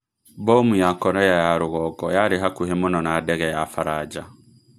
Mbomu ya Korea ya rugongo yarĩ hakuhĩ mũno na ndege ya Faranja